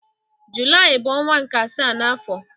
Julaị bu onwa nke asaa n'afo.